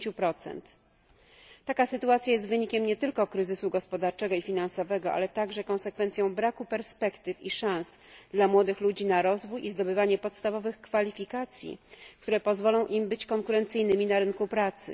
50. Taka sytuacje jest wynikiem nie tylko kryzysu gospodarczego i finansowego, ale także konsekwencją braku perspektyw i szans dla młodych ludzi na rozwój i zdobywanie podstawowych kwalifikacji, które pozwolą im być konkurencyjnymi na rynku pracy.